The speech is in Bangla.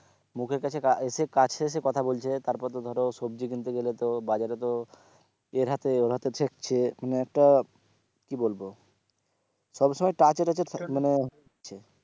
মুখের কাছে এসে কাছে এসে কথা বলছে তারপর ধরো সবজি কিনতে গেলেতো বাজারেতো এর হাতে ওর হাতে ছুঁয়ে মানে একটা কি বলবো সব সময় touch টুচে মানে হচ্ছে,